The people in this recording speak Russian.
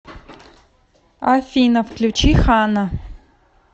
афина включи хана